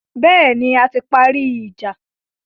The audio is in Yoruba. Bẹ́ẹ̀ni, a ti parí ìjà.